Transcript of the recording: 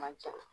Man ca